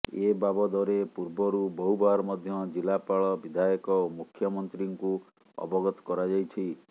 ଏବାବଦରେ ପୂର୍ବରୁ ବହୁବାର ମଧ୍ୟ ଜିଲ୍ଲାପାଳ ବିଧାୟକ ଓ ମୁଖମନ୍ତ୍ରୀଙ୍କୁ ଅବଗତ କରାଯାଇଛି